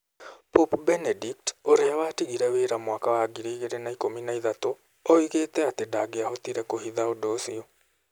Pope Benedict, ũrĩa watigire wĩra mwaka wa 2013, oigĩte atĩ ndangĩahotire kũhitha ũndũ ũcio.